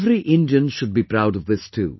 Every Indian should be proud of this too